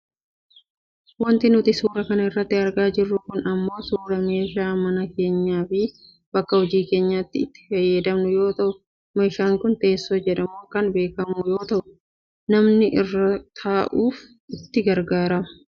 Wanti nuti suura kana irratti argaa jirru kun ammoo suuraa meeshaa mana keenyafi bakka hojii keenyaatti itti fayyadamnu yoo ta'u meeshaan kun teessoo jedhamuun kan beekkamu yoo ta'u namni irra taa'uuf itti garagaarrama.